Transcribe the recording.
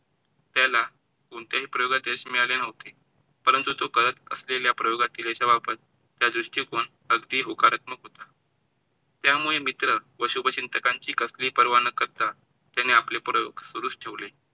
कोणत्याही प्रयोगात यश मिळाले नव्हते. परंतु तो करत असलेल्या प्रयोगातील याचा वापराचा दृष्टिकोन अगदी होकारात्मक होता. त्यामुळं मित्र, व शुभचिंतकांची कसली ही पर्वा न करता त्याने आपले प्रयोग सुरूच ठेवले.